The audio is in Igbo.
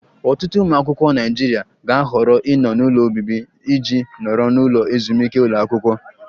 Ọtụtụ ụmụ akwụkwọ Naịjirịa ga-ahọrọ ịnọ n'ụlọ obibi iji nọrọ n'ụlọ ezumike ụlọ akwụkwọ